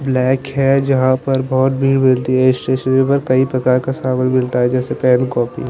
lake है जहा पर बहोत भीड़ होती है शुरू शुरू में कई प्रकार का सामान मिलता है जैसे कोल्ड कॉफ़ी --